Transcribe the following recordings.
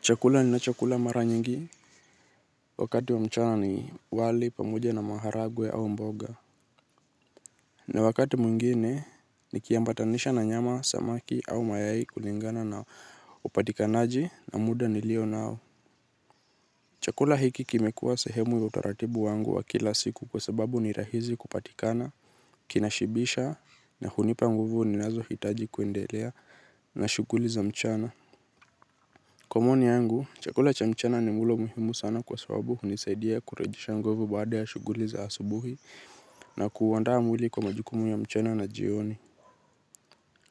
Chakula ninacho kula mara nyingi. Wakati wa mchana ni wali pamoja na maharagwe au mboga, na wakati mwingine nikiambatanisha na nyama samaki au mayai kulingana na upatikanaji na muda nilionao. Chakula hiki kimekua sehemu ya utaratibu wangu wa kila siku kwa sababu ni rahizi kupatikana, kinashibisha na hunipa nguvu ninazo hitaji kuendelea na shughuli za mchana. Komoni yangu, chakula cha mchana ni mlo muhimu sana kwa sababu hunisaidia kurejesha nguvu baada ya shughuli za hasubuhi na kuuandaa mwili kwa majukumu ya mchana na jioni.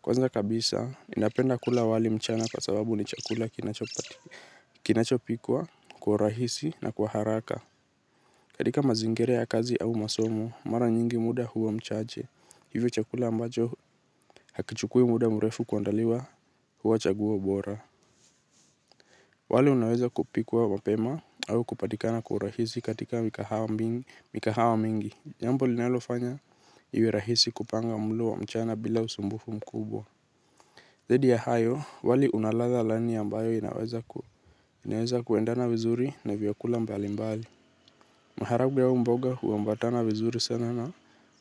Kwanza kabisa, ninapenda kula wali mchana kwa sababu ni chakula kinachopikwa kwa urahisi na kwa haraka. Katika mazingira ya kazi au masomo, mara nyingi muda huwa mchache. Hivyo chakula ambacho hakichukui muda mrefu kuandaliwa huwa chaguo bora. Wali unaweza kupikwa mapema au kupatikana kwaurahisi katika migahawa mingi. Jambo linalofanya iwerahisi kupanga mlo wa mchana bila usumbufu mkubwa. Zaidi ya hayo, wali unaladha laini ambayo inaweza kuendana vizuri na vyakula mbali mbali. Maharagwe au mboga huambatana vizuri sana na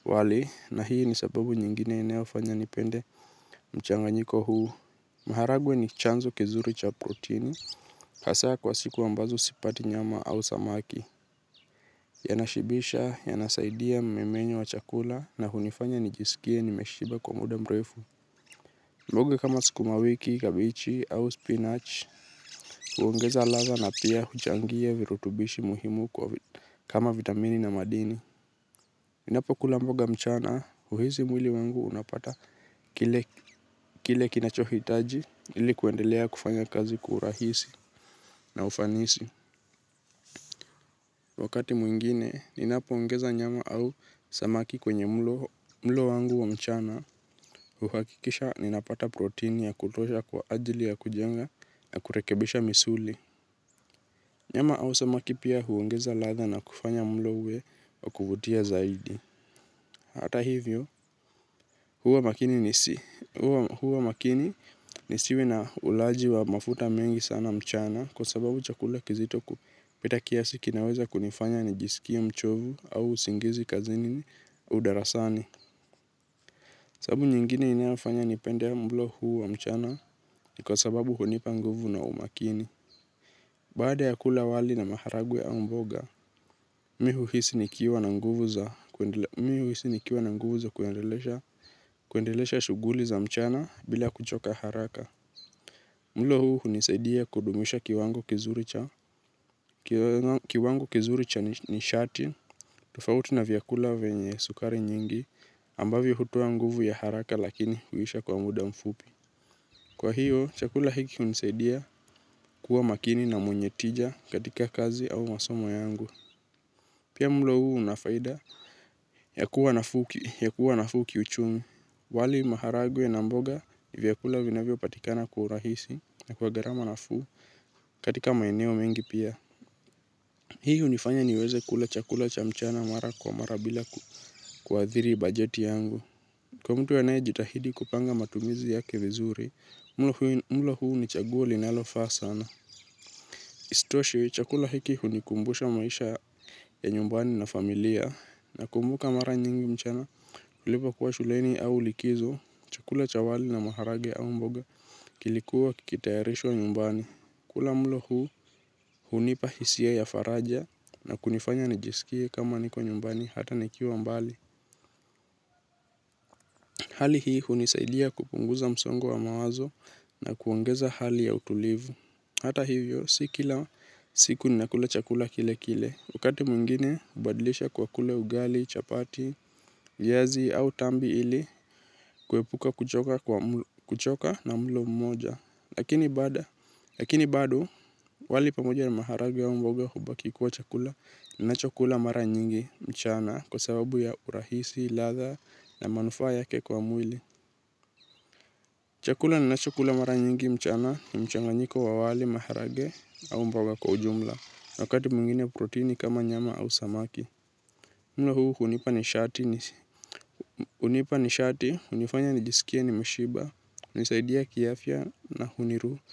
wali na hii ni sababu nyingine inaofanya nipende mchanganyiko huu. Maharagwe ni chanzo kizuri cha protini hasa kwa siku ambazo sipati nyama au samaki. Yanashibisha, yanasaidia mmemenyo wa chakula na hunifanya nijisikie nimeshiba kwa muda mrefu. Mbogo kama sukumawiki, kabichi au spinach huongeza ladha na pia huchangia virutubishi muhimu kama vitamini na madini ninapo kula mboga mchana, huhisi mwili wangu unapata kile kinachohitaji ilikuendelea kufanya kazi kwa urahisi na ufanisi. Wakati mwingine, ninapoongeza nyama au samaki kwenye mlo wangu wa mchana huhakikisha ninapata protini ya kutosha kwa ajili ya kujenga na kurekebisha misuli. Nyama au samaki pia huongeza ladha na kufanya mlo uwe wa kuvutia zaidi. Hata hivyo, huwa makini nisi huwa makini nisiwe na ulaji wa mafuta mengi sana mchana kwa sababu chakula kizito kupita kiasi kinaweza kunifanya nijisikie mchovu au usingizi kazini au darasani. Sababu nyingine inafanya nipende mlo huu wa mchana ni kwa sababu hunipa nguvu na umakini. Baada ya kula wali na maharagwe au mboga mi uhisi nikiwa na nguvu za kuendelesha shughuli za mchana bila kuchoka haraka mlo huu hunisaidia kudumisha kiwango kizuri cha kiwango kizuri cha nishati, tofauti na vyakula vyenye sukari nyingi, ambavyo hutoa nguvu ya haraka lakini huisha kwa muda mfupi. Kwa hiyo, chakula hiki hunisaidia kuwa makini na mwenye tija katika kazi au masomo yangu. Pia mlo huu una faida ya kuwa nafuu kiuchumi. Wali maharagwe na mboga ni vyakula vinavyo patikana kwa urahisi na kwa gharama nafuu katika maeneo mengi pia. Hii hunifanya niweze kula chakula cha mchana mara kwa mara bila kuathiri bajeti yangu. Kwa mtu anaye jitahidi kupanga matumizi yake vizuri, mlo huu ni chaguo linalofaa sana. Isitoshe chakula hiki hunikumbusha maisha ya nyumbani na familia nakumbuka mara nyingi mchana nilipokuwa shuleni au likizo chakula cha wali na maharage au mboga kilikuwa kikitayarishwa nyumbani. Kula mlo huu hunipa hisia ya faraja na kunifanya nijisikie kama niko nyumbani hata nikiwa mbali. Hali hii hunisaidia kupunguza msongo wa mawazo na kuongeza hali ya utulivu. Hata hivyo, si kila siku ninakula chakula kile kile. Wakati mwingine, hubadilisha kwa kula ugali, chapati, viazi au tambi ili, kuepuka kuchoka na mlo mmoja. Lakini bado, wali pamoja ni maharage au mboga hubaki kuwa chakula ninacho chakula mara nyingi, mchana kwa sababu ya urahisi, ladha na manufaa yake kwa mwili. Chakula ninachukula mara nyingi mchana ni mchanganyiko wa wali maharage au mboga kwa ujumla wakati mwingine protini kama nyama au samaki. Mlo huu hunipa nishati hunifanya nijisikie nimeshiba hunisaidia kiafya na huniru.